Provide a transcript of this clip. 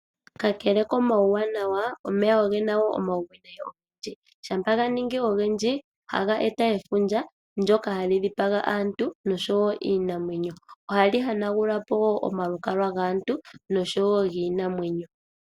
Kakele komauwanawa, omeya ogena wo omauwinayi ogendji. Ngele ganingi ogendji ohaga eta efundja, ndjoka hali dhipaga aantu oshowo iinamwenyo . Ohali hanagulapo wo omalukalwa gaantu noshowoo giinamwenyo.